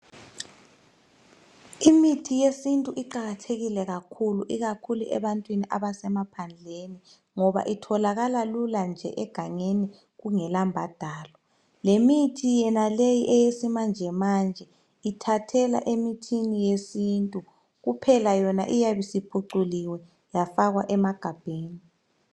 Imithi yesintu iqakathekile kakhulu ikakhulu ebantwini abasemaphandleni ngoba itholakala lula nje egangeni kungela mbadalo. Lemithi yenaleyi eyesimanjemanje, ithathela emithini yesintu. Kuphela yona iyabisiphuculiwe yafakwa. emagabheni.